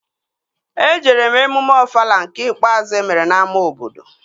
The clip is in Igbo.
Ejere m emume Ofala nke ikpeazụ emere n'ámá obodo